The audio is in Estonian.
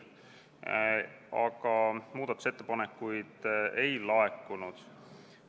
Aga muudatusettepanekuid ei laekunud.